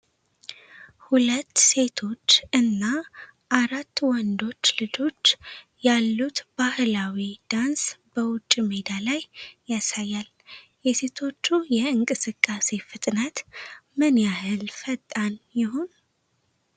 ሁለት ሴቶች እና አራት ወንዶች ልጆች ያሉት ባህላዊ ዳንስ በውጭ ሜዳ ላይ ያሳያል። የሴቶቹ የእንቅስቃሴ ፍጥነት ምን ያህል ፈጣን ይሆን?